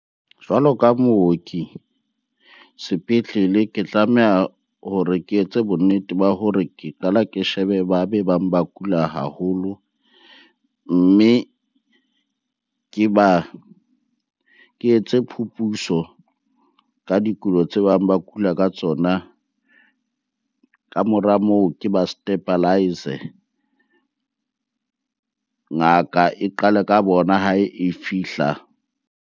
Jwalo ka mooki sepetlele, ke tlameha hore ke etse bonnete ba hore ke qale ke shebe ba be bang ba kula haholo. Mme ke ba, ke etse phuputso ka dikulo tse bang ba kula ka tsona. Ka mora moo, ke ba stabilize. Ngaka e qale ka bona ha e fihla.